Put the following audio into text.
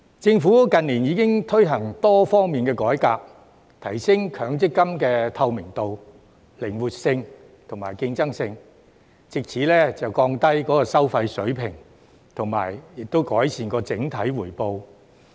政府近年已經推行多方面改革，提升強積金的透明度、靈活性及競爭性，藉此降低收費水平及改善整體回報。